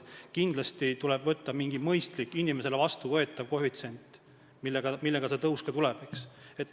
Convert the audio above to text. Kindlasti tuleb võtta mingi mõistlik, inimesele vastuvõetav koefitsient, mille alusel see tõus tuleb.